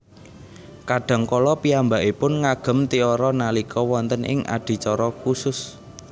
Kadang kala piyambakipun ngagem tiara nalika wonten ing adicara khusus